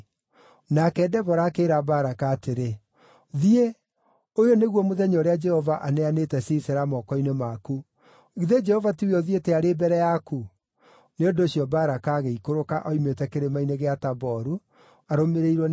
Nake Debora akĩĩra Baraka atĩrĩ, “Thiĩ! Ũyũ nĩguo mũthenya ũrĩa Jehova aneanĩte Sisera moko-inĩ maku. Githĩ Jehova tiwe ũthiĩte arĩ mbere yaku?” Nĩ ũndũ ũcio Baraka agĩikũrũka oimĩte Kĩrĩma-inĩ gĩa Taboru, arũmĩrĩirwo nĩ andũ 10,000.